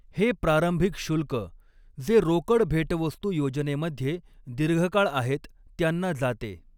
हे प्रारंभिक शुल्क, जे रोकड भेटवस्तू योजनेमध्ये दीर्घकाळ आहेत त्यांना जाते.